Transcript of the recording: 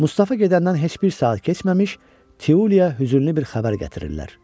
Mustafa gedəndən heç bir saat keçməmiş Tiuliyə hüzünlü bir xəbər gətirirlər.